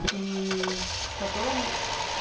и потом